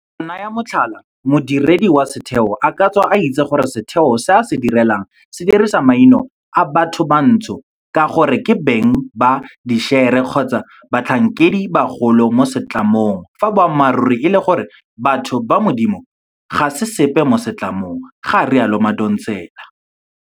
Go naya motlhala, modiredi wa setheo a ka tswa a itse gore setheo se a se direlang se dirisa maina a bathobantsho ka gore ke beng ba dišere kgotsa ke batlhankedi ba bagolo mo setlamong fa boammaruri e le gore batho ba modimo ga se sepe mo setlamong, ga rialo Madonsela.